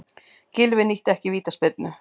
Gylfi nýtti ekki vítaspyrnu